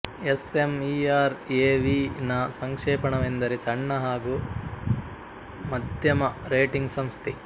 S M E R ಎವಿನ ಸಂಕ್ಷೇಪಣವೆಂದರೆ ಸಣ್ಣ ಹಾಗು ಮಧ್ಯಮ ರೇಟಿಂಗ್ ಸಂಸ್ಥೆ